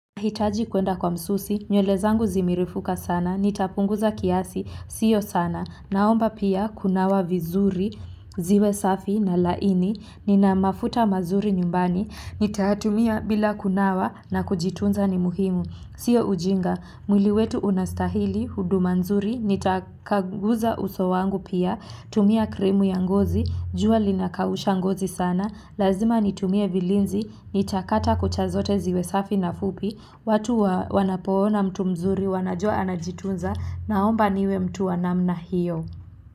Hitaji kuenda kwa msusi, nywele zangu zimerefuka sana, nitapunguza kiasi, sio sana, naomba pia kunawa vizuri, ziwe safi na laini, nina mafuta mazuri nyumbani, nitatumia bila kunawa na kujitunza ni muhimu, sio ujinga, mwili wetu unastahili, huduma nzuri, nitakaguza uso wangu pia, tumia krimu ya ngozi, jua linakausha ngozi sana, lazima nitumie vilinzi, nitakata kucha zote ziwe safi na fupi, watu wanapoona mtu mzuri wanajua anajitunza naomba niwe mtu wa namna hiyo.